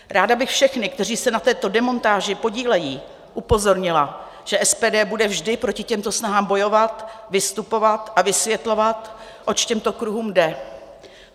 Ráda bych všechny, kteří se na této demontáži podílejí, upozornila, že SPD bude vždy proti těmto snahám bojovat, vystupovat a vysvětlovat, oč těmto kruhům jde.